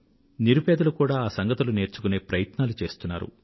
నిరుపేదలు కూడా ఆ సంగతులు నేర్చుకునే ప్రయత్నాలు చేస్తున్నారు